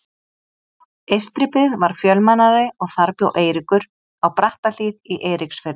Eystribyggð var fjölmennari og þar bjó Eiríkur, á Brattahlíð í Eiríksfirði.